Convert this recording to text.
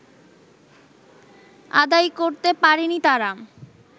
আদায় করতে পারেনি তারা